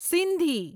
Sindhi